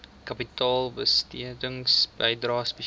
kapitaalbesteding bydrae spesiale